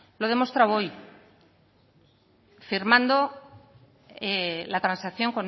lo he demostrado hoy firmando la transacción